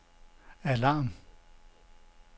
alarm